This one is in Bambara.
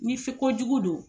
Ni se ko jugu don.